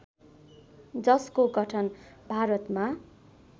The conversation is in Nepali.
जसको गठन भारतमा